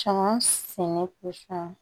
Cɔngɔn sɛnɛ